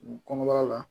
Kɔnɔbara la